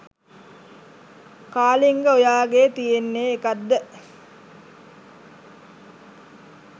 කාලිංග ඔයාගෙ තියෙන්නෙ එකක්ද?